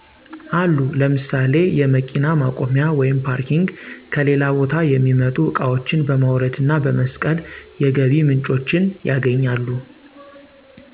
አሉ ለምሳሌ የመኪና ማቆያ(ፓርኪንግ) ከሌላ ቦታ የሚመጡ እቃዋችን በማውረድ እና በመስቀል የገቢ ምንጮችን ያገኛሉ